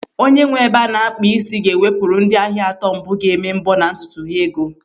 Onye nwe ebe a na-akpa isi ga-ewepụru ndị ahịa atọ mbụ ga-eme mbọ na ntutu ha ego.